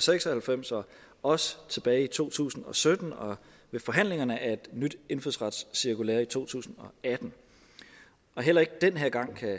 seks og halvfems og også tilbage i to tusind og sytten og ved forhandlingerne af et nyt indfødsretscirkulære i to tusind og atten heller ikke den her gang kan